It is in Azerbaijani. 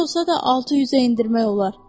Neçə olsa da 600-ə endirmək olar.